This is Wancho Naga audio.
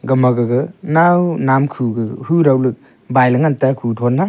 gama gaga nao nap khu gaga hu dao le baile ngan taga khuthon a.